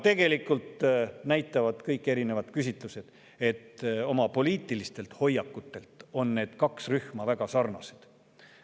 Tegelikult näitavad kõik erinevad küsitlused, et oma poliitilistelt hoiakutelt on need kaks rühma väga sarnased.